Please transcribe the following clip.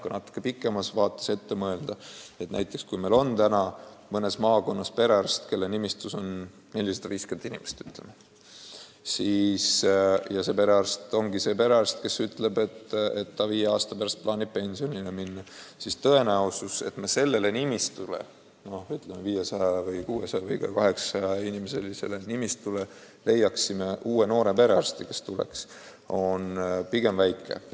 Kui natuke pikemas vaates ette mõelda, siis kui meil näiteks on praegu mõnes maakonnas perearst, kelle nimistus on 450 inimest, ja tema ongi see perearst, kes ütleb, et ta viie aasta pärast plaanib pensionile minna, siis tõenäosus, et me sellele nimistule – ütleme, 500, 600 või ka 800 inimesest koosnevale nimistule – leiame uue noore perearsti, on pigem väike.